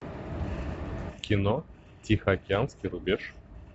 кино тихоокеанский рубеж